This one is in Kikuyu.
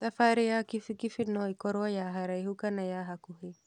Thabarĩ ya kibikibi noĩkorwo ya haraihu kana ya hakuhĩ.